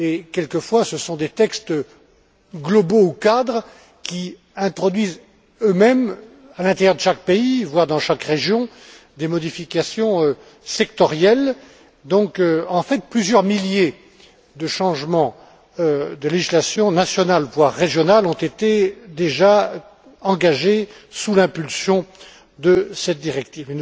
Quelquefois, ce sont des textes globaux ou cadres qui introduisent eux mêmes, à l'intérieur de chaque pays, voire dans chaque région, des modifications sectorielles. En fait, plusieurs milliers de changements de législation nationale voire régionale ont déjà été engagés sous l'impulsion de cette directive.